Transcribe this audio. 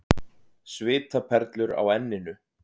Svitaperlur á enninu.